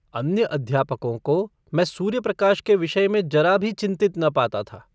अन्य अध्यापकों को मैं सूर्यप्रकाश के विषय में ज़रा भी चिन्तित न पाता था।